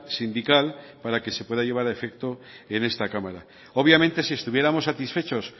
sindical para que se pueda llevar a efecto en este cámara obviamente si estuviéramos satisfechos